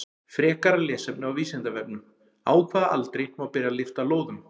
Frekara lesefni á Vísindavefnum: Á hvaða aldri má byrja að lyfta lóðum?